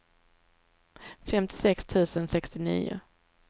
femtiosex tusen sextionio